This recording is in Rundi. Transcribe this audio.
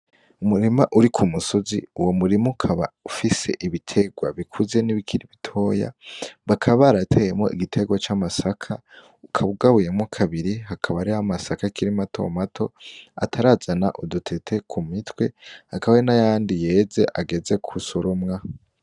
Umurima uri kumusozi, uwo murima ukaba ufise ibiterwa bikuze n'ibikiri bitoya bakaba barateyemwo igiterwa c'amasaka ukaba ugabuyemwo kabiri, hakaba hari amasaka akiri mato mato atarazana udutete k'umitwe hakaba hari n'ayandi yeze ageze gusoromwa .